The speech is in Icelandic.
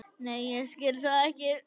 Nei ég skil það ekki.